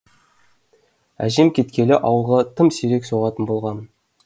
әжем кеткелі ауылға тым сирек соғатын болғамын